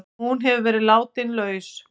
Hún hefur verið látin laus